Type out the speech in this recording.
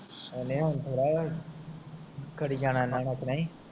ਓਹਨੇ ਹੁਣ ਥੋੜਾ ਕਰੀ ਜਾਣਾ